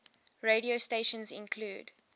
radio stations include